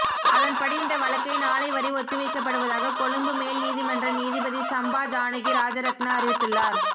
அதன்படி இந்த வழக்கை நாளை வரை ஒத்திவைக்கப்படுவதாக கொழும்பு மேல் நீதிமன்ற நீதிபதி சம்பா ஜானகி ராஜரத்ன அறிவித்துள்ளார்